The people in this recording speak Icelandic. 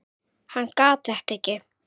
Hann gat þetta ekki.